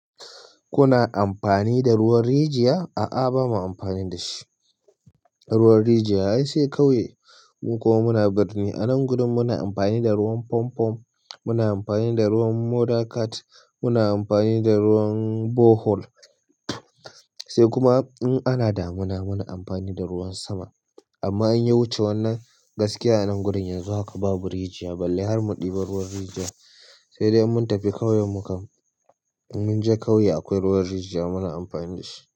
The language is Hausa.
Kuna amfani da ruwan rijiya? A'a bama amfani da shi, ruwan rijiya ai sai sai kauye mu kuma muna birni. Anan gurin muna amfani da ruwan fampo, muna amfani da ruwan mother cat, muna amfani da ruwan borehole. Sai kuma in ana damuna muna amfani da ruwan sama. Amma in ya wuce wannan gaskiya anan gurin yanzu haka babu rijiya. Balle har mu ɗiba ruwan rijiya, sai dai in mun tafi kauye mukan-- mun je kauye akwai ruwan rijiya muna amfani da shi.